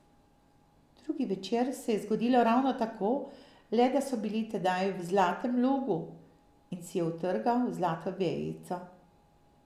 Drugi večer se je zgodilo ravno tako, le da so bili tedaj v zlatem logu in si je utrgal zlato vejico.